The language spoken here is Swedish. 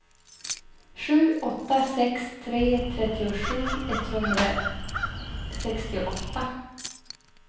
sju åtta sex tre trettiosju etthundrasextioåtta